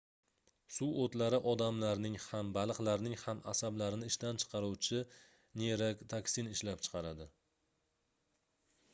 suvoʻtlari odamlarning ham baliqlarning ham asablarini ishdan chiqaruvchi neyrotoksin ishlab chiqaradi